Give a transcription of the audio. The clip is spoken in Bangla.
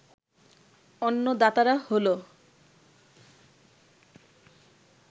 অন্য দাতারা হলো